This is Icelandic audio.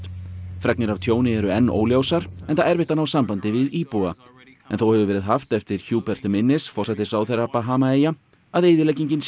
fregnir af tjóni eru enn óljósar enda erfitt að ná sambandi við íbúa en þó hefur verið haft eftir minnis forsætisráðherra Bahamaeyja að eyðileggingin sé